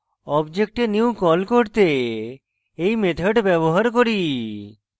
object we new কল করতে এই method ব্যবহার করি